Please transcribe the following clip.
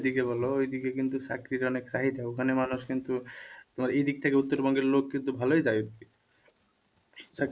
দিকে বলো ঐদিকে কিন্তু চাকরির অনেক চাহিদা, ওখানে মানুষ কিন্তু তোমার এই দিক থেকে উত্তরবঙ্গের লোক কিন্তু ভালোই যায় চাকরি,